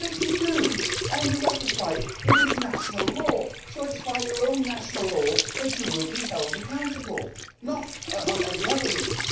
But if you do, and you ratify it, it is national law, so it is by your own national law that you will be held accountable, not any other rule.